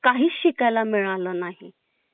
काहीच शिकायला मिळाल नाही